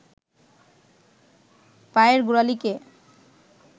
পায়ের গোড়ালিকে